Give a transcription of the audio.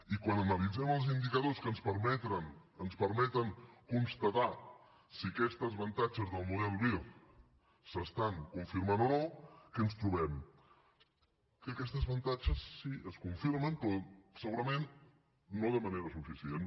i quan analitzem els indicadors que ens permeten constatar si aquests avantatges del model vir s’estan confirmant o no què ens trobem que aquests avantatges sí que es confirmen però segurament no de manera suficient